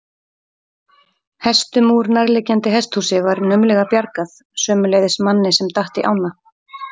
Hestum úr nærliggjandi hesthúsi var naumlega bjargað, sömuleiðis manni sem datt í ána.